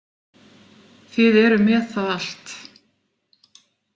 Þið eruð með það allt.